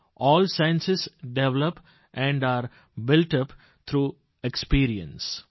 all sciences develop and are built up through experience